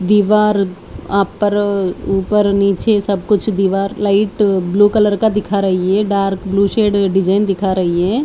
दी वार आपर ऊपर नीचे सब कुछ दीवार लाइट ब्लू कलर का दिखा रही है डार्क ब्लू शेड डिजाइन दिखा रही है।